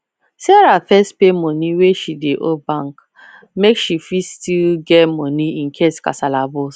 sarah first pay money wey she dey owe bank make she fit still get money incase kasala burst